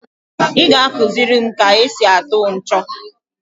I ga akuziri m ka e si atụ ncho?